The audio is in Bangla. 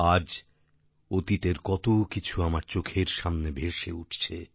আজ অতীতের কতকিছু আমার চোখের সামনে ভেসে উঠছে